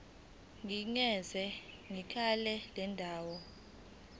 nikeza ngekheli lendawo